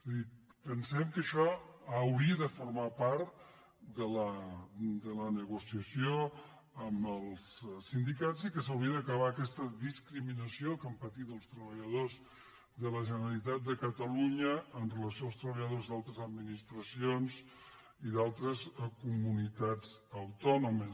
és a dir pensem que això hauria de formar part de la negociació amb els sindicats i que s’hauria d’aca·bar aquesta discriminació que han patit els treballa·dors de la generalitat de catalunya en relació amb els treballadors d’altres administracions i d’altres comu·nitats autònomes